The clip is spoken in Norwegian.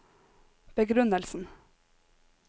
begrunnelsen